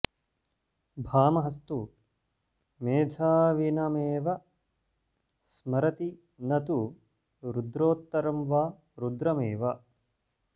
भामहस्तु मेधाविनमेव स्मरति न तु रुद्रोत्तरं वा रुद्रमेव